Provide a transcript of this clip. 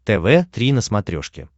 тв три на смотрешке